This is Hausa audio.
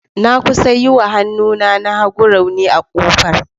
Na kusa yi wa hannuna na hagu rauni a kofar.